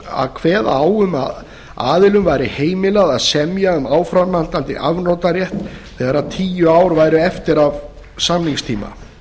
að kveða á um að aðilum væri heimilt að semja um áframhaldandi afnotarétt þegar tíu ár væru eftir af samningstíma